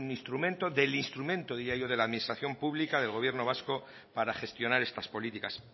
instrumento del instrumento diría yo de la administración pública del gobierno vasco para gestionar estas políticas